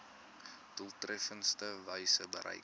doeltreffendste wyse bereik